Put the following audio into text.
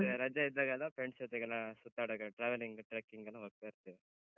ಮತ್ತೆ ರಜೆ ಇದ್ದಾಗೆಲ್ಲ friends ಜೊತೆಗೆಲ್ಲ ಸುತ್ತಾಡೋಕೆ, traveling , trekking ಗೆಲ್ಲ ಹೋಗ್ತ ಇರ್ತೇವೆ.